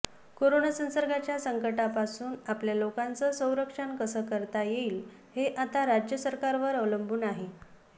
corona संसर्गाच्या संकटापासून आपल्या लोकांचं संरक्षण कसं करता येईल हे आता राज्य सरकारांवर अवलंबून आहे